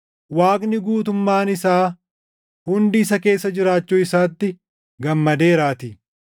Waaqni guutummaan isaa hundi isa keessa jiraachuu isaatti gammadeeraatii;